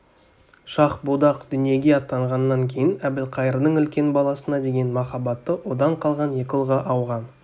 шах-будақ дүниеге аттанғаннан кейін әбілқайырдың үлкен баласына деген махаббаты одан қалған екі ұлға ауған